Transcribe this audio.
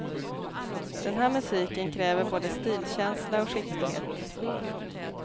Den här musiken kräver både stilkänsla och skicklighet.